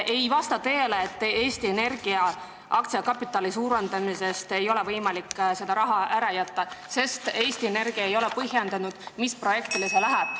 Ei vasta tõele, et Eesti Energia aktsiakapitali suurendamise realt ei ole võimalik seda raha ära jätta, sest Eesti Energia ei ole selgitanud, mis projektile see läheb.